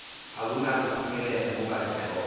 akunakuphumelela kuba intloko